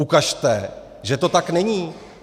Ukažte, že to tak není.